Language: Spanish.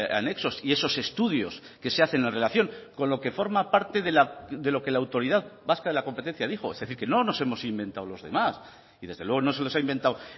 anexos y esos estudios que se hacen en relación con lo que forma parte de lo que la autoridad vasca de la competencia dijo es decir que no nos hemos inventado los demás y desde luego no se los ha inventado